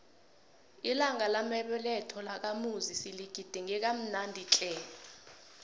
ilanga lamabeletho lakamuzi siligidinge kamnandi tle